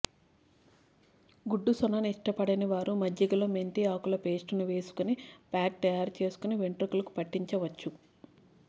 గుడ్డు సొనను ఇష్టపడని వారు మజ్జికలో మెంతి ఆకుల పేస్టును వేసుకని ప్యాక్ తాయారు చేసుకుని వెంట్రుకలకు పట్టించవచ్చు